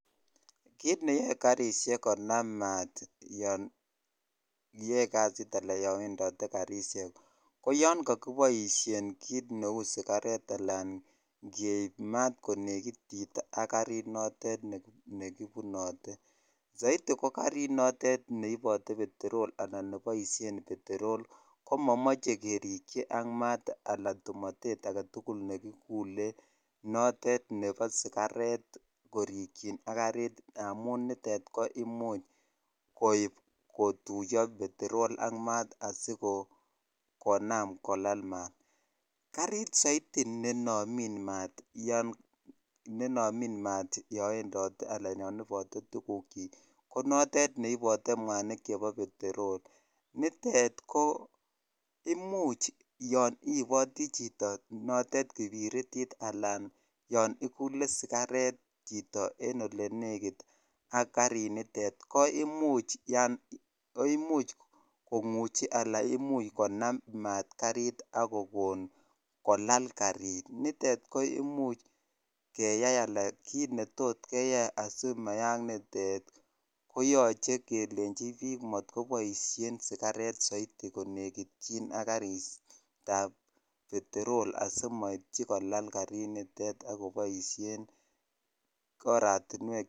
Kiit neyoe karishek konam maat yoon iyoe kasit alaan yoon bendote karishek, ko yoon koiboishen kiit neu sikaret alaan keib maat konekitit ak karit notet nekibunote, soiti ko karit notet neibote peterol anan neboishen peterol ko momoche kerikyi ak maat alaa tumotet aketukul nekikule notet nebo sikaret korikyin ak karit amun nitet koimuch koib kotuyo peterol ak maat asiko konaam kolal maat, karit soiti nenomin maat yoon wendote alaan yon ibote tukukyik konotet ne ibote mwanik chebo peterol, nitet ko imuch yoon iiboti chito notet kipiritit alaan yoon ikule sikaret chito en olenekit ak karinitet ko imuch kong'uchi alaan imuch konam maat karit ak kokon kolal karit nitet ko imuch keyai alaan kiit netot keyai asimayaak nitet koyoche kelenchi biik motkoboishen sikaret soiti konekityin ak karitab peterol asimoityi kolal karinitet ak koboishen oratinwek.